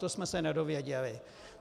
To jsme se nedozvěděli.